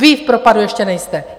Vy v propadu ještě nejste.